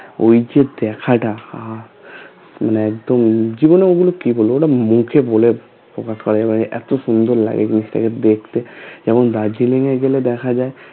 ওইযে দেখাটা আহঃ মানে একদম জীবনে ঐগুলো কি বলে ওটা মুখে বলে প্রকাশ করা যায় না মানে এতো সুন্দর লাগে জিনিসটাকে দেখতে যেমন দার্জিলিং এ গেলে দেখা যায়